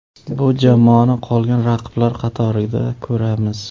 Bu jamoani qolgan raqiblar qatorida ko‘ramiz.